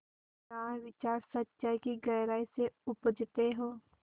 जहाँ विचार सच्चाई की गहराई से उपजतें हों